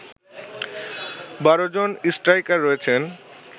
১২ জন স্ট্রাইকার রয়েছেন